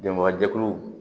Dɛmɛbagajɛkuluw